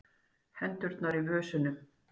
Hendurnar í vösunum.